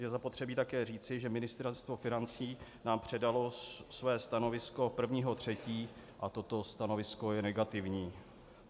Je zapotřebí také říci, že Ministerstvo financí nám předalo své stanovisko 1. 3. a toto stanovisko je negativní.